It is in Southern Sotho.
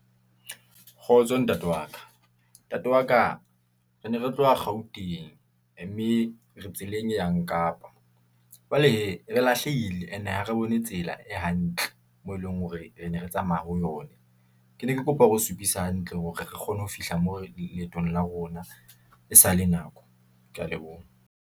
Kgotso ntate wa ka , ntate wa ka, re ne re tloha gauteng, mme re tseleng e yang kapa , jwale hee, re lahlehile ene ha re tsela e hantle moo eleng hore ne re tsamaya ho yona. Ke ne ke kopa hore o supise hantle, hore re kgone ho fihla moo leetong la rona, e sale nako, ke ya leboha.